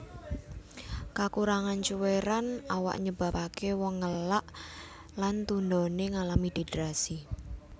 Kakurangan cuwèran awak nyebabaké wong ngelak lan tundoné ngalami dehidrasi